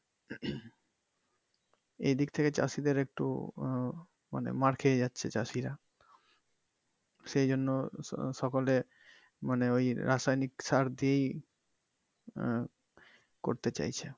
এইদিক থেকে চাষিদের একটু আহ মানে মার খেয়ে যাচ্ছে চাষীরা সেই জন্য সকলে মানে ওই রাসায়নিক সার দিয়েই আহ করতে চাইছে।